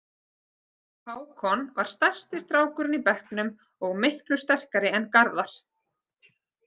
Hákon var stærsti strákurinn í bekknum og miklu sterkari en Garðar.